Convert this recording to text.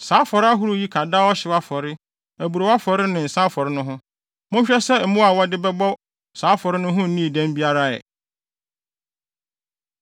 Saa afɔre ahorow yi ka daa ɔhyew afɔre, aburow afɔre ne nsa afɔre no ho. Monhwɛ sɛ mmoa a mode wɔn bɛbɔ saa afɔre no nnii dɛm biara ɛ.